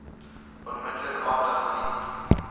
onmiddellik aandag geniet